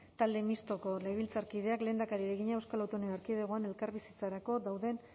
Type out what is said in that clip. talde mistoko legebiltzarkideak lehendakariari egina euskal autonomia erkidegoan elkarbizitzarako dauden